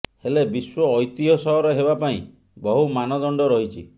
ହେଲେ ବିଶ୍ବ ଐତିହ୍ୟ ସହର ହେବା ପାଇଁ ବହୁ ମାନଦଣ୍ଡ ରହିଛି